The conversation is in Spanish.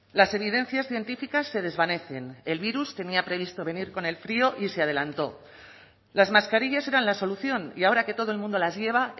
las evidencias científicas se desvanecen el virus tenía previsto venir con el frío y se adelantó las mascarillas eran la solución y ahora que todo el mundo las lleva